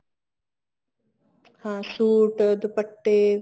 ਹਾਂ ਸੂਟ ਦੁਪੱਟੇ